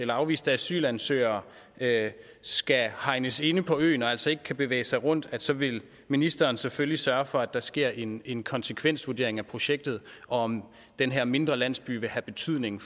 afviste asylansøgere skal hegnes ind på øen og altså ikke kan bevæge sig rundt vil ministeren selvfølgelig sørge for at der sker en en konsekvensvurdering af projektet og af om den her mindre landsby vil have betydning